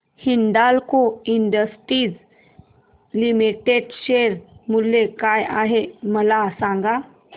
Hindalco industries limited share मूल्य काय आहे मला सांगा